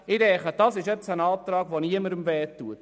Ich denke, das ist ein Antrag, der niemandem weh tut.